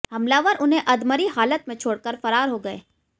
हमलावर उन्हें अधमरी हालत में छोड़कर फरार हो गए